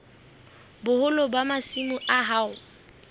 boholo ba masimo a hao